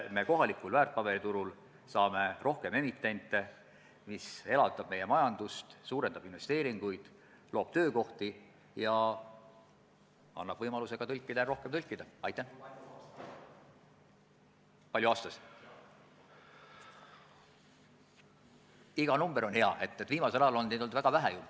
Ma saan aru, et küsimus on kas finantsvõimekuses või selles , et nagu ma usun, kui ettevõte teab, et võivad mingid kohustused kaasneda, siis ta ka pingutab infrastruktuuri remondiga rohkem ja võib-olla teatud seisakud on hulga lühemaajalisemad.